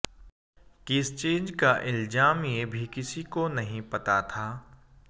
किस चीज़ का इल्ज़ाम ये भी किसी को नहीं पता था